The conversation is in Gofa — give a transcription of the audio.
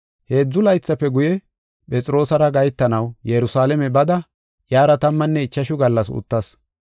Heedzu laythafe guye, Phexroosara gahetanaw Yerusalaame bada iyara tammanne ichashu gallas uttas.